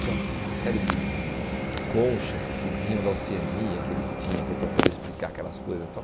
Tinha uma série de de conchas que vinham da Oceania que ele tinha que era para poder explicar aquelas coisas tal.